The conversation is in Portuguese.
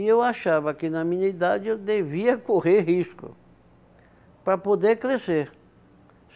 E eu achava que, na minha idade, eu devia correr risco para poder crescer.